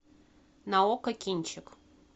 на окко кинчик